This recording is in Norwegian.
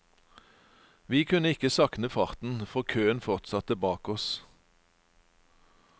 Vi kunne ikke saktne farten, for køen fortsatte bak oss.